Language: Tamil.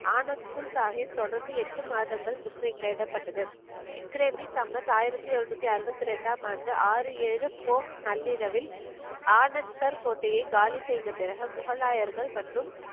ஆனந்த்பூர் சாஹிப் தொடர்ந்து எட்டு மாதங்கள் முற்றுகையிடப்பட்டது ஆயிரத்தி எழுநூத்தி அறுபத்தி ரெண்டாம் ஆண்டு ஆறு ஏழு நள்ளிரவில் ஆனந்த்கர் கோட்டையை காலி செய்த பிறகு முகலாயர்கள் மற்றும்